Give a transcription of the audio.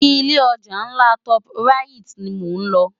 Ilé òjá nlá tòp ráyit ni mó nlò